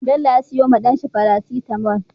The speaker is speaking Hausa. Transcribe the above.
Bello ya siyo wa dan shi paracetamol